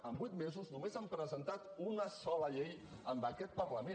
en vuit mesos només han presentat una sola llei en aquest parlament